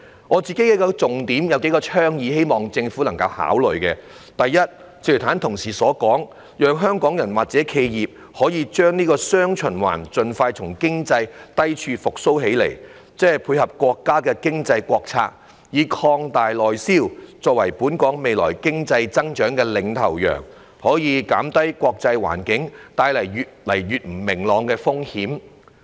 我有幾項重點及倡議，希望政府能夠考慮：第一，正如剛才同事所說，港人及企業需把握"雙循環"，盡快從經濟低處復蘇，配合國家經濟政策以擴大內銷作為本港未來經濟增長的"領頭羊"，藉此可以減低越來越不明朗的國際環境所帶來的風險。